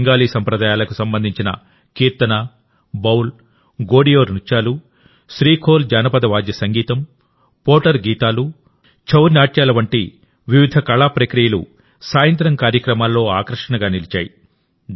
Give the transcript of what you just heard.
బెంగాలీ సంప్రదాయాలకు సంబంధించినకీర్తన బౌల్ గోడియో నృత్యాలు శ్రీఖోల్ జానపద వాద్య సంగీతం పోటర్ గీతాలు ఛౌ నాట్యాల వంటి వివిధ కళా ప్రక్రియలు సాయంత్రం కార్యక్రమాల్లో ఆకర్షణగా నిలిచాయి